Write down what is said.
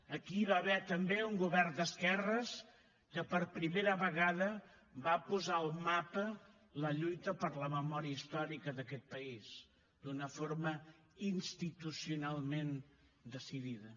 aquí hi va haver també un govern d’esquerres que per primera vegada va posar al mapa la lluita per la memòria històrica d’aquest país d’una forma institucionalment decidida